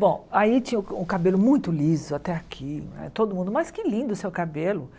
Bom, aí tinha o o cabelo muito liso até aqui né, todo mundo, mas que lindo o seu cabelo.